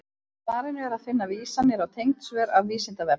Í svarinu er að finna vísanir á tengd svör af Vísindavefnum.